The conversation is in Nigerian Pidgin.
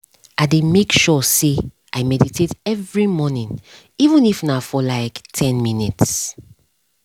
i dey make sure say i meditate every morning even if na for like ten minutes